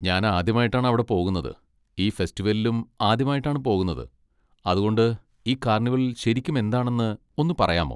ഞാൻ ആദ്യമായിട്ടാണ് അവിടെ പോകുന്നത്, ഈ ഫെസ്റ്റിവലിലും ആദ്യമായിട്ടാണ് പോകുന്നത്. അതുകൊണ്ട് ഈ കാർണിവൽ ശരിക്കും എന്താണെന്ന് ഒന്ന് പറയാമോ?